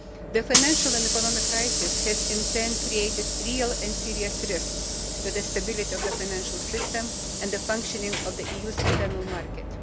The financial and economic crisis has, in turn, created real and serious risks to the stability of the financial system and the functioning of the EU's internal market.